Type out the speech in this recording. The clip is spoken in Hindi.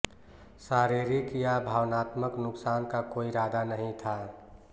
शारीरिक या भावनात्मक नुकसान का कोई इरादा नहीं था